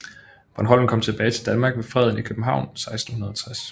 Bornholm kom tilbage til Danmark ved Freden i København 1660